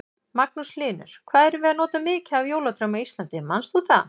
Magnús Hlynur: Hvað erum við að nota mikið af jólatrjám á Íslandi, manst þú það?